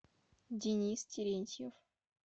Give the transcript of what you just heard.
денис терентьев